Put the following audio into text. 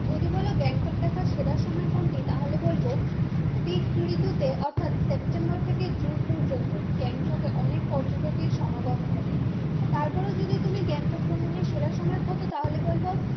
যদি বলো গ্যাংটক দেখার সেরা সময় কোনটি তাহলে বলবো শীত ঋতুতে অর্থাৎ সেপ্টেম্বর থেকে জুন পর্যন্ত গ্যাংটকে অনেক পর্যটকের সমাগম ঘটে তারপরেও যদি তুমি গ্যাংটক ভ্রমণের সেরা সময় খোঁজো তাহলে বলবো